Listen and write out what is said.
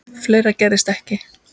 Fleira gerðist ekki.